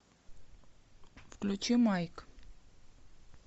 включи майк